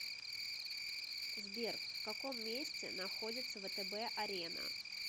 сбер в каком месте находится втб арена